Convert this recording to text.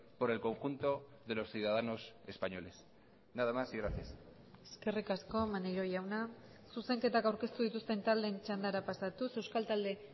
por el conjunto de los ciudadanos españoles nada más y gracias eskerrik asko maneiro jauna zuzenketak aurkeztu dituzten taldeen txandara pasatuz euskal talde